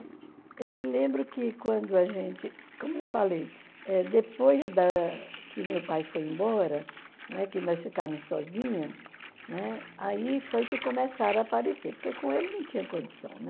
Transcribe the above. Eu me lembro que quando a gente, como eu falei, eh depois da que meu pai foi embora, né, que nós ficamos sozinhas, né, aí foi que começaram a aparecer, porque com ele não tinha condição, né?